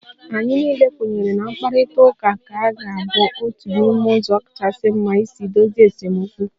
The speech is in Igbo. Anyị niile kwenyere na mkparịta ụka ka ga-abụ otu n'ime ụzọ kachasị mma isi dozie esemokwu